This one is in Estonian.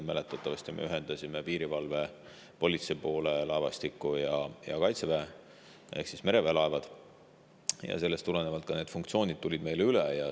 Mäletatavasti me ühendasime piirivalve ja politsei laevastiku ja Kaitseväe ehk mereväe laevad ning sellest tulenevalt ka need funktsioonid tulid meile üle.